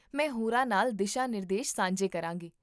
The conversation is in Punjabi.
ਮੈਂ ਹੋਰਾਂ ਨਾਲ ਦਿਸ਼ਾ ਨਿਰਦੇਸ਼ ਸਾਂਝੇ ਕਰਾਂਗੀ